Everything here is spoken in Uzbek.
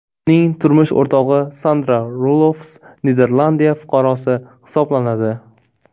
Uning turmush o‘rtog‘i Sandra Rulofs Niderlandiya fuqarosi hisoblanadi.